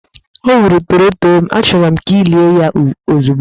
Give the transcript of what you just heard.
O gburu torotoro m, achọrọ m ka ị lie ya ozugbo!